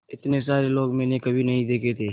इतने सारे लोग मैंने कभी नहीं देखे थे